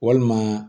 Walima